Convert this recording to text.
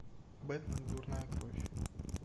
бэтмен дурная кровь